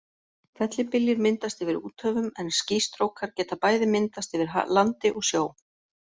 Fellibyljir myndast yfir úthöfum en skýstrókar geta bæði myndast yfir landi og sjó.